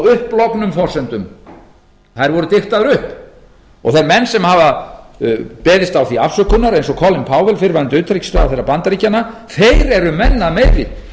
upplognum forsendum þær voru diktaðar upp þeir menn sem hafa beðist á því afsökunar eins og colin powell fyrrverandi utanríkisráðherra bandaríkjanna þeir eru menn að meiri